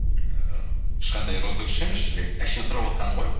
ііі ешқандай розыгрыш емес жібек әшейін сұрап отқаным ғой